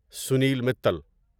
Sunil Mittal